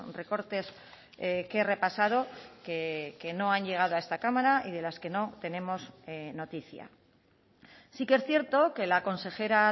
recortes que he repasado que no han llegado a esta cámara y de las que no tenemos noticia sí que es cierto que la consejera